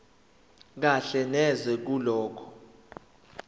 kahle neze kulokho